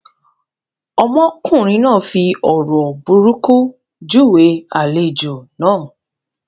Ọmọkùnrin náà fi ọ̀rọ̀ burúkú júwe àlejò náà.